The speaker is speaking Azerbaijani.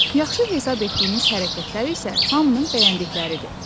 Yaxşı hesab etdiyimiz hərəkətlər isə hamının bəyəndikləridir.